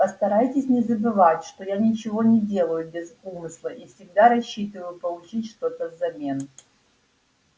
постарайтесь не забывать что я ничего не делаю без умысла и всегда рассчитываю получить что-то взамен